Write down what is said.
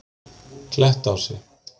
Klettási